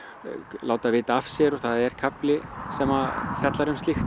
láta vita af sér og það er kafli sem fjallar um slíkt